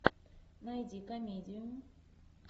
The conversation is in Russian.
найди комедию